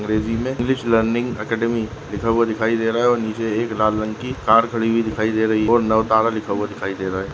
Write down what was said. इस इमेजिंग में which learning academic लिखा हुवा दिखायी दे रहा है ओर निचे एक लाल रंग की कार खड़ी हुयी दिखायी दे रही है और नवतारा लिखा हुआ दिखायी दे रहा है।